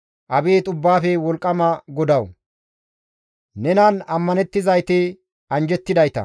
Abeet Ubbaafe Wolqqama GODAWU! Nenan ammanettizayti anjjettidayta.